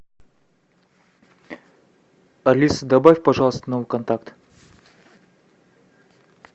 алиса добавь пожалуйста новый контакт